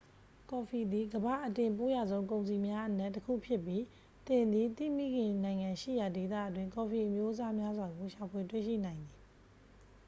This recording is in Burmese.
ကော်ဖီသည် ကမ္ဘာ့အတင်ပို့ရဆုံးကုန်စည်များအနက်တစ်ခုဖြစ်ပြီး သင်သည် သင့်မိခင်နိုင်ငံရှိရာဒေသအတွင်း ကော်ဖီအမျိုးအစားများစွာကို ရှာဖွေတွေ့ရှိနိုင်သည်